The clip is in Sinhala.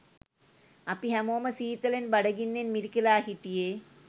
අපි හැමෝම සීතලෙන් බඩ ගින්නෙන් මිරිකිලා හිටියේ.